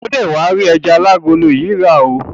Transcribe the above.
O dé wá rí ẹja alágolo yìí rà oo.